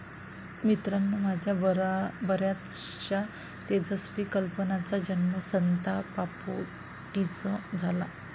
मित्रांनो, माझ्या बऱ्याचशा तेजस्वी कल्पनांचा जन्म संतापापोटीच झाला.